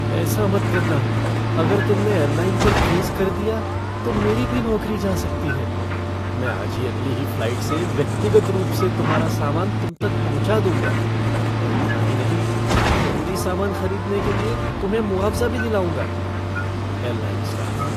ऐसा मत करना, अगर तुमने एयरलाइन पर केस कर दिया, तो मेरी भी नौकरी जा सकती है। मैं आज ही अगली ही फ़्लाइट से व्यक्तिगत रूप से तुम्हारा सामान तुम तक पहुँचा दूंगा और इतना ही नहीं ज़रूरी सामान खरीदने के लिए तुम्हें मुआवज़ा भी दिलाऊंगा। Airline staff